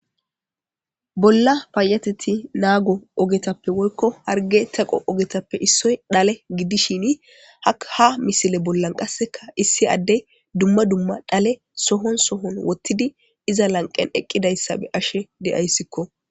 bolla payateti naago ogetappe woykko harge teqo ogetappe issoy dhale giddishini ha misile bollan qasseka issi addey dumma dumma dhale sohon sohon wottidi iza lanqen eqqidayssa be'ashe de'aysko.